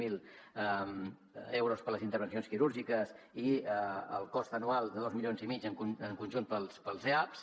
zero euros per a les intervencions quirúrgiques i el cost anual de dos milions i mig en conjunt per als eaps